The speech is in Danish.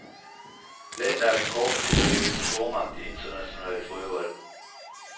Landet er på kort tid blevet en stormagt i international fodbold.